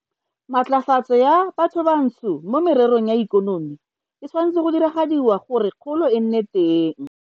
Matlafatso ya bathobantsho mo mererong ya ikonomi e tshwanetswe go diragadiwa gore kgolo e nne teng.